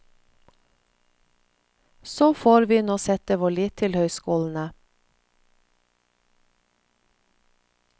Så får vi nå sette vår lit til høyskolene.